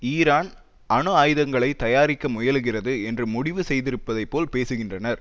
Iran அணு ஆயுதங்களை தயாரிக்க முயலுகிறது என்று முடிவு செய்திருப்பதை போல் பேசுகின்றனர்